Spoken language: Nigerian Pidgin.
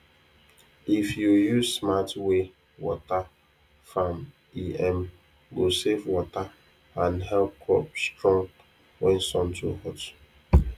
if you use smart way water farm e um go save water and help crop strong when sun too hot